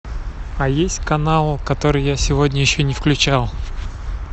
а есть канал который я сегодня еще не включал